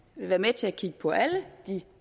være med til at kigge på alle de